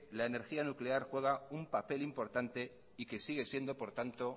la energía nuclear juega un papel importante y que sigue siendo por tanto